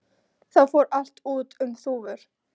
Þá fór allt út um þúfur.